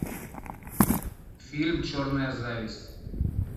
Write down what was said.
фильм черная зависть